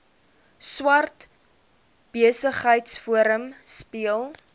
swart besigheidsforum speel